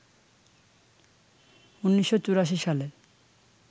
১৯৮৪ সালে